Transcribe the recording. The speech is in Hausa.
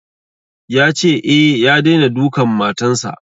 Ya ce, e, ya daina dukan matan sa.